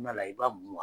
i b'a mun